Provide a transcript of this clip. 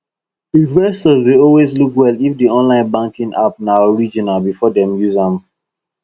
investors dey always look well if the online banking app na original before dem use am